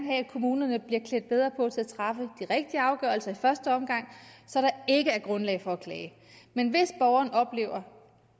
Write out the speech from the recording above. have kommunerne bliver klædt bedre på til at træffe de rigtige afgørelser i første omgang så der ikke er grundlag for at klage men hvis borgeren oplever